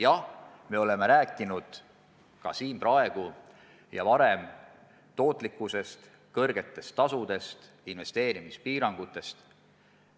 Jah, me oleme rääkinud nii praegu kui ka varem samuti tootlikkusest, kõrgetest tasudest, investeerimispiirangutest.